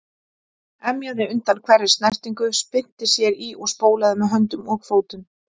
Emjaði undan hverri snertingu, spyrnti sér í og spólaði með höndum og fótum.